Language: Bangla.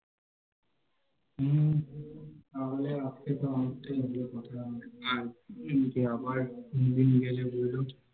হম তাহলে আজকে তো আমার Enjoy করলাম আর পুরীতে আবার গেলে বলো